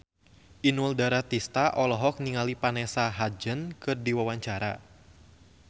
Inul Daratista olohok ningali Vanessa Hudgens keur diwawancara